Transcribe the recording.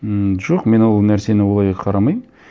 ммм жоқ мен ол нәрсені олай қарамаймын